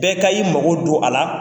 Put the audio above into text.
Bɛɛ ka i mago don a la.